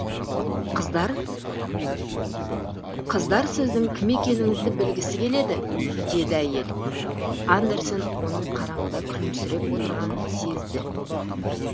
қыздар қыздар сіздің кім екеніңізді білгісі келеді деді әйел андерсен оның қараңғыда күлімсіреп отырғанын сезді